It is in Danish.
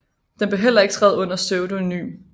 Den blev heller ikke skrevet under pseudonym